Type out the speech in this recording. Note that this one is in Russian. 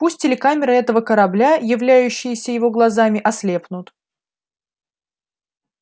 пусть телекамеры этого корабля являющиеся его глазами ослепнут